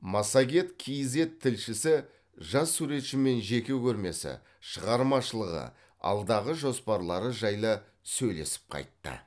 массагет кейзэт тілшісі жас суретшімен жеке көрмесі шығармашылығы алдағы жоспарлары жайлы сөйлесіп қайтты